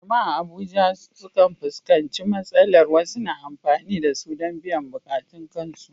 Jama’a a Abuja sukan fuskanci matsalar wasu na amfani da su don biyan buƙatun kansu